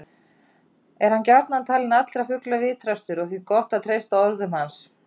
Er hann gjarnan talinn allra fugla vitrastur og því gott að treysta orðum hans.